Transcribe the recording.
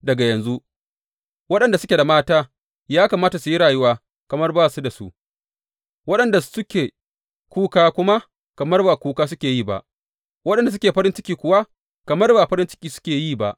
Daga yanzu, waɗanda suke da mata ya kamata su yi rayuwa kamar ba su da su; waɗanda suke kuka kuma kamar ba kuka suke yi ba, waɗanda suke farin ciki kuwa kamar ba farin ciki suke yi ba.